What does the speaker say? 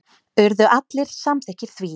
Urðu allir samþykkir því.